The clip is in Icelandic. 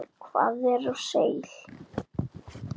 Hvað er seil?